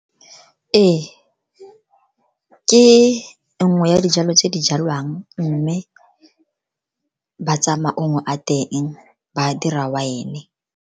Ee, ke nngwe ya dijalo tse di jalwang, mme ba tsaya maungo a teng ba dira wine-e.